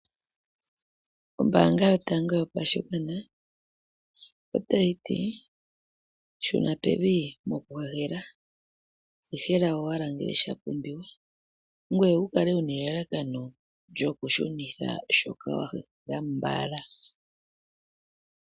Ombanga yotango yopashigwana otayi ti shuna pevi mokuhehela, hehela owala ngele sha pumbiwa ngoye wu kale wu na elalakano lyokushunitha shoka wa hehela mbala.